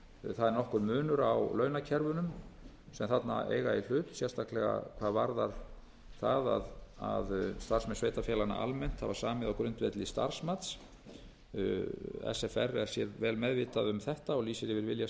það er nokkur munur á launakerfum sem þarna eiga í hlut sérstaklega hvað varðar það að starfsmenn sveitarfélaganna almennt hafa samið á grundvelli starfsmats sfr er sér meðvitað um þetta og lýsir yfir vilja